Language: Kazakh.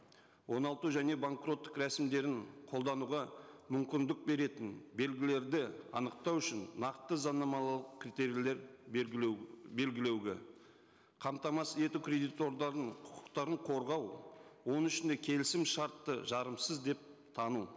оңалту және банкроттық рәсімдерін қолдануға мүмкіндік беретін белгілерді анықтау үшін нақты заңнамалық критерийлер белгілеуге қамтамасыз ету кредиторлардың құқықтарын қорғау оның ішінде келісімшартты жарымсыз деп тану